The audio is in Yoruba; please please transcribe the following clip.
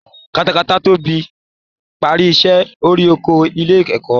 Katakata ti parí iṣẹ́ orí oko ilé ẹ̀kọ́